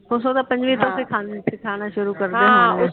computer ਤਾ ਪੰਜਵੀ ਤਕ ਤੋਂ ਸਿਖਾਉਣਾ ਸ਼ੁਰੂ ਕਰਦੇ ਆ